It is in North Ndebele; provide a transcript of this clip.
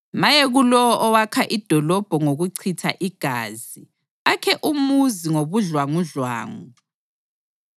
Maye kulowo owakha idolobho ngokuchitha igazi akhe umuzi ngobudlwangudlwangu.